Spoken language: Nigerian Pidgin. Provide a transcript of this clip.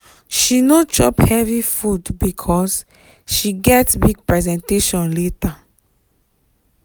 she no chop heavy food because she get big presentation later.